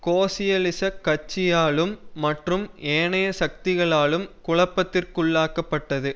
கோசியலிசக் கட்சியாலும் மற்றும் ஏனைய சக்திகளாலும் குழப்பத்திற்குள்ளாக்கப்பட்டது